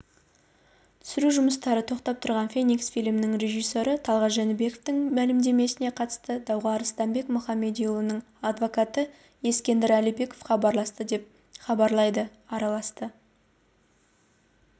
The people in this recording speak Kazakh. түсіру жұмыстары тоқтап тұрған феникс фильмінің режиссері талғат жәнібековтің мәлімдемесіне қатысты дауға арыстанбек мұхамедиұлының адвокаты ескендір әлімбеков араласты деп хабарлайды араласты